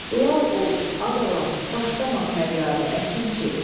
Lal ol, a balam, başlama fəryadə, əkinçi.